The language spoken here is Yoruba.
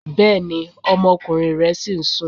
Bẹ́ẹ̀ni, ọmọkùnrin rẹ ṣìí sún.